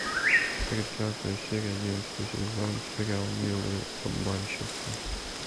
тридцатая серия одиннадцатый сезон сериал милые обманщицы